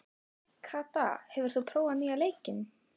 Kata, hefur þú prófað nýja leikinn?